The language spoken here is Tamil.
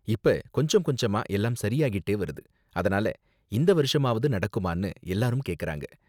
இப்ப கொஞ்சம் கொஞ்சமா எல்லாம் சரியாகிட்டே வருது, அதனால இந்த வருஷமாவது நடக்குமானு எல்லாரும் கேக்கறாங்க.